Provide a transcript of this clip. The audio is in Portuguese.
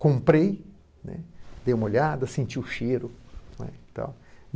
Comprei, né, dei uma olhada, senti o cheiro, né e tal.